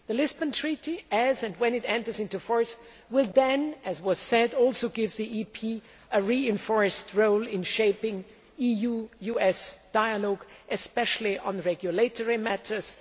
The Lisbon Treaty, as and when it enters into force, will then, as has been said, also give the EP a reinforced role in shaping EU US dialogue, especially on regulatory matters